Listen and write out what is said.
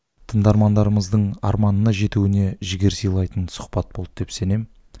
тыңдармандарымыздың арманына жетуіне жігер сыйлайтын сұхбат болды деп сенемін